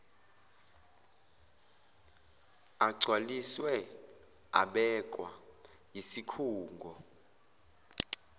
agcwaliswe abekwa yisikhungo